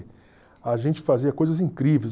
A gente fazia coisas incríveis.